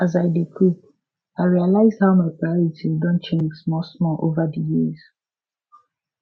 as i dey cook i realized how my priorities don change smallsmall over di years